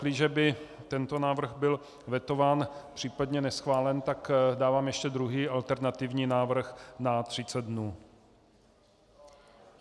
Pakliže by tento návrh byl vetován, případně neschválen, tak dávám ještě druhý, alternativní návrh na 30 dnů.